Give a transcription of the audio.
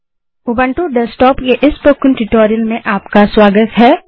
Ubuntu desktop के इस spoken tutorial में आपका स्वागत है